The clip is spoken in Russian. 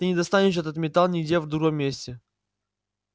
ты не достанешь этот металл нигде в другом месте